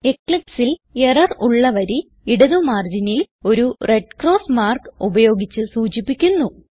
Eclipseൽ error ഉള്ള വരി ഇടത് മാർജിനിൽ ഒരു റെഡ് ക്രോസ് മാർക്ക് ഉപയോഗിച്ച് സൂചിപ്പിക്കുന്നു